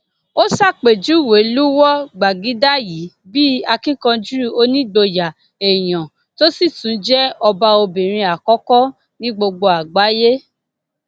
ó ṣàpèjúwe lúwọ gbàgìdá yìí bíi akíkanjú onígboyà èèyàn tó sì tún jẹ ọba obìnrin àkọkọ ní gbogbo àgbáyé